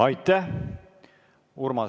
Aitäh!